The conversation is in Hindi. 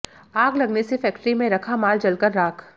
आग लगने से फैक्टरी में रखा माल जलकर राख